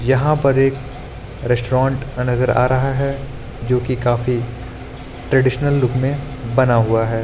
यहां पर एक रेस्ट्रोन्ट नज़र आ रहा है जो कि काफी ट्रेडिशनल लुक में बना हुआ है।